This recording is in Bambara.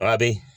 A bɛ